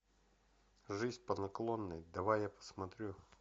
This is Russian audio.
жизнь по наклонной давай я посмотрю